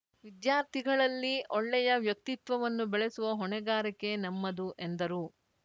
ವಿದ್ಯಾರ್ಥಿಗಳಲ್ಲಿ ಒಳ್ಳೆಯ ವ್ಯಕ್ತಿತ್ವವನ್ನು ಬೆಳೆಸುವ ಹೊಣೆಗಾರಿಕೆ ನಮ್ಮದು ಎಂದರು